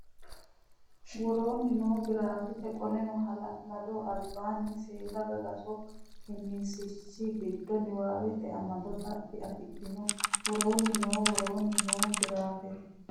woroonni noo giraafete Qoleno hala lado albanna seeda gagaso qiniishshi giddo niwaawete amado xaphi afidhino woroonni noo woroonni noo giraafete.